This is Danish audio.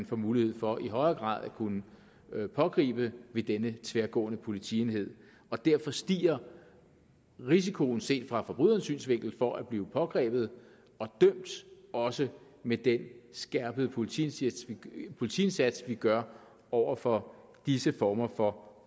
får mulighed for i højere grad at kunne pågribe ved denne tværgående politienhed derfor stiger risikoen set fra forbrydernes synsvinkel for at blive pågrebet og dømt også med den skærpede politiindsats politiindsats vi gør over for disse former for